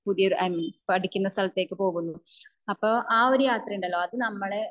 പുതിയൊരു എം പഠിക്കുന്ന സ്ഥലത്തേക്ക് പോകുന്നു അപ്പോ അഹ് ഒരു യാത്ര ഉണ്ടല്ലോ അത് നമ്മളെ